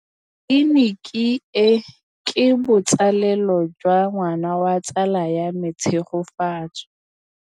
Tleliniki e, ke botsalêlô jwa ngwana wa tsala ya me Tshegofatso.